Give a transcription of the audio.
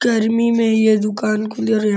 गर्मी में ये दुकान खोल और --